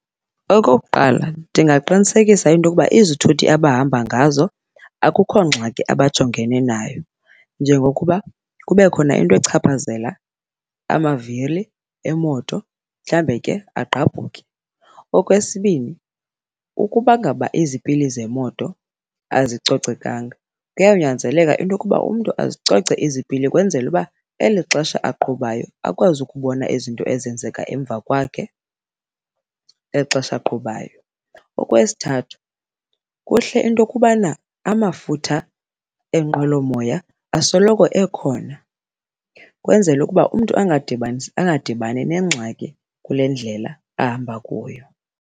Okokuqala, ndingaqinisekisa into yokuba izithuthi abahamba ngazo akukho ngxaki abajongene nayo njengokuba kube khona into echaphazela amavili emoto, mhlambe ke agqabhuke. Okwesibini, ukubangaba izipili zemoto azicocekanga kuyawunyanzeleka into yokuba umntu azicoce izipili kwenzele uba eli xesha aqhubayo akwazi ukubona izinto ezenzeka emva kwakhe eli xesha aqhubayo. Okwesithathu, kuhle into yokubana amafutha enqwelomoya asoloko ekhona kwenzele ukuba umntu a ngadibani nengxaki kule ndlela ahamba kuyo.